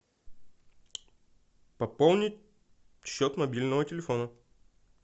пополнить счет мобильного телефона